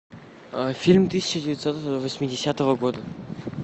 фильм тысяча девятьсот восьмидесятого года